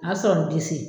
A sɔrɔ n disi